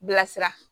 Bilasira